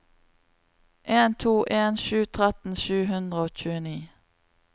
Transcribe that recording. en to en sju tretten sju hundre og tjueni